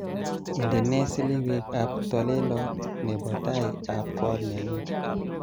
indenee selewek ab talelot nebo tai ab kot nenuu